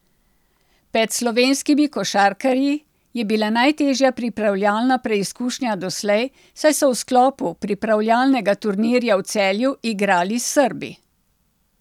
Ped slovenskimi košarkarji je bila najtežja pripravljalna preizkušnja doslej, saj so v sklopu pripravljalnega turnirja v Celju, igrali s Srbi.